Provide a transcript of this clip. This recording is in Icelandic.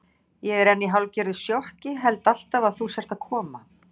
Ég er enn í hálfgerðu sjokki, held alltaf að þú sért að koma.